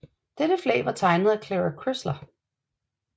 Dette flag var tegnet af Clara Crisler